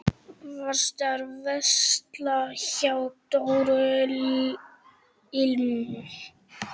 Varstu að versla hjá Dóru ilm?